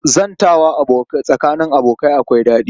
Zantawa tsakanin abokai akwai daɗi